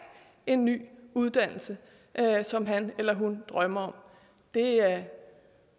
en ny uddannelse som han eller hun drømmer om det er